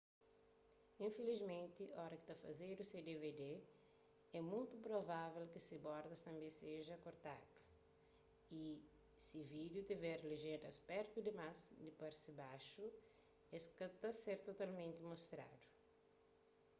infilismenti oras ki ta fazedu se dvd é mutu provável ki se bordas tanbê seja korkadu y si vídiu tiver lejéndas pertu dimás di parti baxu es ka ta ser totalmenti mostradu